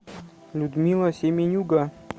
людмила семенюга